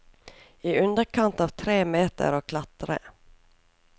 I underkant av tre meter å klatre.